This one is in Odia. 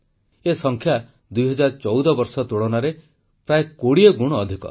ଏ ସଂଖ୍ୟା 2014 ବର୍ଷ ତୁଳନାରେ 20 ଗୁଣ ଅଧିକ